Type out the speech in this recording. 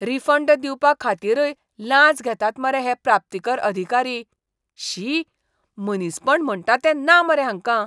Refund दिवपाखातीरय लांच मागतात मरे हे प्राप्तीकर अधिकारी. शी, मनीसपण म्हणटा तें ना मरे हांकां!